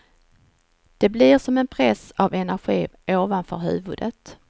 Det blir som en press av energi ovanför huvudet.